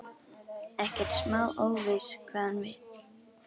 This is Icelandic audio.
Ekkert smá óviss hvað hann vill.